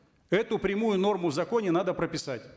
эту прямую норму в законе надо прописать